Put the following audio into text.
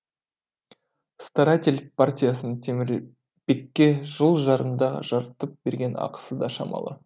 старатель партиясының темірбекке жыл жарымда жарытып берген ақысы да шамалы